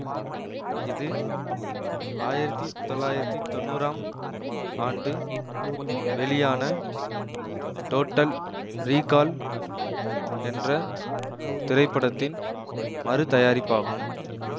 இது ஆயிரத்தி தொள்ளாயிரத்தி தொன்னூறாம் ஆண்டு வெளியான டோட்டல் ரீகால் என்ற திரைப்படத்தின் மறு தயாரிப்பாகும்